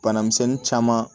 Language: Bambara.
Bana misɛnnin caman